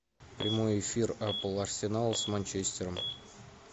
прямой эфир апл арсенал с манчестером